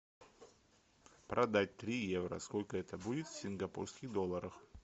продать три евро сколько это будет в сингапурских долларах